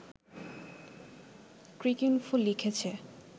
Cricinfo লিখেছে